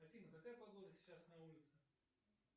афина какая погода сейчас на улице